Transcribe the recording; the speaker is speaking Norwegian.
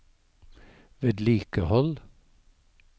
vedlikehold